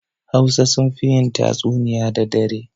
Hausa sunfi yin tatsuniya da dare